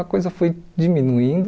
A coisa foi diminuindo.